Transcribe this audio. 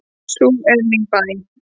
Sú er mín bæn.